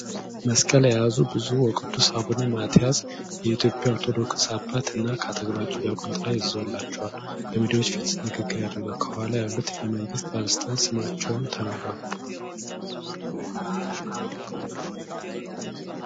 መስቀል የያዙ ብጽዑ ወቅዱስ አቡነ ማትያስ የኢትዮጵያ ኦርቶዶክስ አባት እና ከአጠገባቸው ዲያቆን ጥላ ይዞላቸው በሚዲያዎች ፊት ንግግር ያደርጋሉ። ከኋላ ያሉት የመንግስት ባለሥልጣናት ስማቸው ተናገሩ?